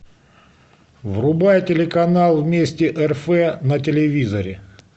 врубай телеканал вместе рф на телевизоре